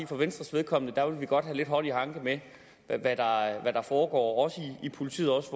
for venstres vedkommende vil vi godt have lidt hånd i hanke med hvad der foregår også i politiet og også